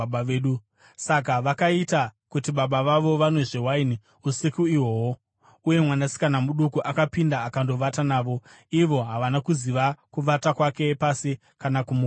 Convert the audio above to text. Saka vakaita kuti baba vavo vanwezve waini usiku ihwohwo uye mwanasikana muduku akapinda akandovata navo. Ivo havana kuziva kuvata kwake pasi kana kumuka kwake.